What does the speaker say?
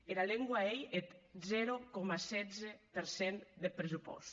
era lengua ei eth zero coma setze per cent deth pressupòst